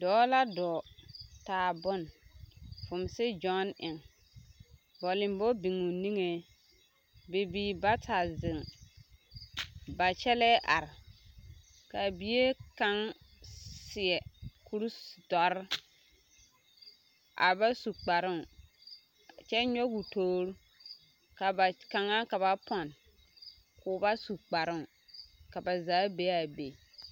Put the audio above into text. Dɔɔ la dɔɔ taa bon vumseɡyɔneŋ bɔlembɔ biŋ o niŋe bibiiri bata zeŋ ba kyɛllɛɛ are ka bie kaŋ seɛ kurdɔre a ba su kparoo kyɛ nyɔɡe o toori ka ba kaŋa ka ba pɔn k'o ba su kparoo ka ba zaa be a be.